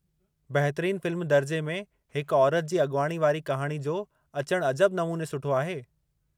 बहितरीन फ़िल्म दर्जे में हिकु औरति जी अगि॒वाणी वारी कहाणी जो अचणु अजब नमूने सुठो आहे।